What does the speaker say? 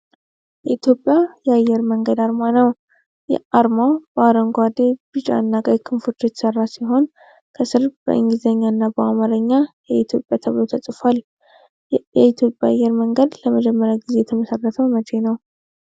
የኢትዮጵያ አየር መንገድ አርማ ነው። አርማው በአረንጓዴ፣ ቢጫና ቀይ ክንፎች የተሠራ ሲሆን ከሥር በእንግሊዝኛና በአማርኛ "የኢትዮጵያ" ተብሎ ተጽፏል። የኢትዮጵያ አየር መንገድ ለመጀመሪያ ጊዜ የተመሰረተው መቼ ነበር?